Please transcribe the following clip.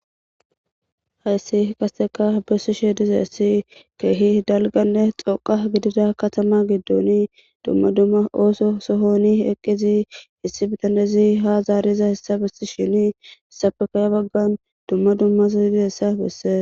hayssi qaseka bessishe dizayssi keehi dalganne xoqa gidida katama giddooni duma duma ooso sohoni eqqizi issi bitanezi ha zaariza hessa bessishini safekaya baggan duma dumasa didiza hessa besse.